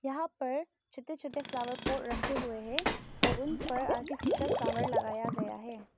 यहां पर छोटे छोटे फ्लावर पॉट रखे हुए हैं और उन पर आर्टिफिशियल फ्लावर लगाया गया है।